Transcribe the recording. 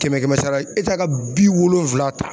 Kɛmɛ kɛmɛ sara la ka bi wolonwula ta.